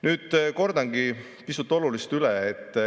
Nüüd kordangi pisut olulist üle.